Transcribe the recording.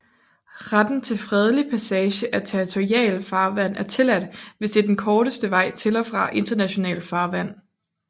Retten til fredelig passage af territorialfarvand er tilladt hvis det er den korteste vej til og fra internationalt farvand